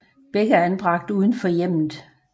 Begge er anbragt uden for hjemmet